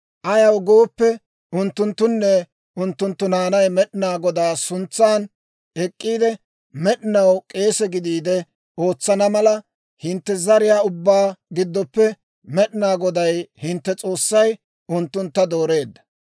Ayaw gooppe, unttunttunne unttunttu naanay Med'inaa Godaa suntsan ek'k'iide, med'inaw k'eese gidiide ootsana mala, hintte zariyaa ubbaa giddoppe Med'inaa Goday hintte S'oossay unttuntta dooreedda.